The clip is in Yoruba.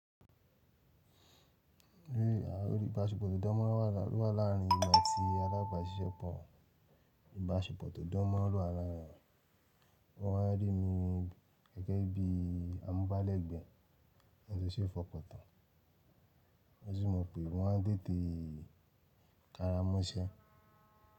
Rí ìbáṣepọ̀ tó dán mọ́ ran wà láàrin ìlú àti alábàáṣiṣẹ́pọ̀. Ìbáṣepọ̀ tó dán mọ́ ran ló wà láàrin wọ́n á rí mi gẹ́gẹ́ bí amúbálẹ́gbẹ̀ẹ́ àti iṣẹ́ ìfọkàntàn. Wọ́n sì mọ̀ pé wọ́n á tètè karamọ́ iṣẹ́.